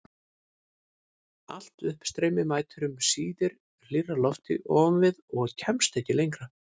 Allt uppstreymi mætir um síðir hlýrra lofti ofan við og kemst ekki lengra.